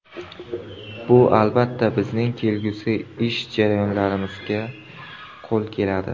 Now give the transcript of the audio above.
Bu, albatta, bizning kelgusi ish jarayonlarimizda qo‘l keladi”.